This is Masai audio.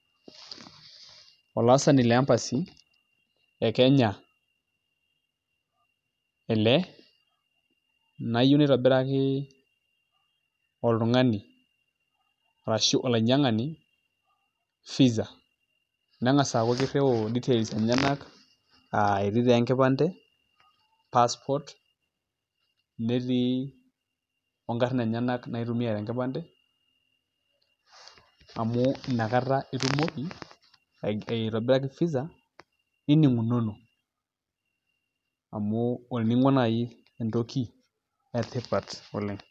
Olaasani le embassy e kenya ele , nayieu naitobiraki oltungani arashu olainyiangani visa . Nengas aaku kiriu details enyenak , aa etii taa enkipande , passport, netii onkarn enyenak naitumia te enkipande amu inakata itumoki aitobiraki visa niningunono amu olningo nai entoki etipat oleng.